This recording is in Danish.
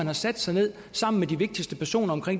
har sat sig ned sammen med de vigtigste personer